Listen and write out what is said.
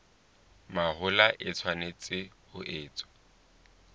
mahola e tshwanetse ho etswa